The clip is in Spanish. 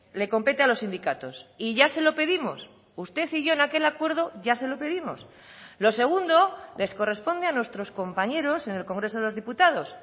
le compete a los sindicatos y ya se lo pedimos usted y yo en aquel acuerdo ya se lo pedimos lo segundo les corresponde a nuestros compañeros en el congreso de los diputados